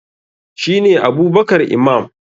shi ne Abubkar Imam